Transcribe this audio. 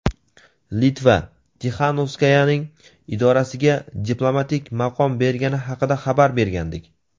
Litva Tixanovskayaning idorasiga diplomatik maqom bergani haqida xabar bergandik.